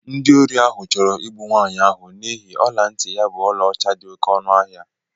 Ndị ori ahụ chọrọ ịgbụ nwanyi ahụ n'ihi ọla ntị ya bu ọlaọcha dị oké ọnụ ahịa.